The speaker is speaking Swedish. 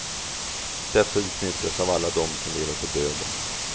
Detta utnyttjas av alla dem som lever på döden.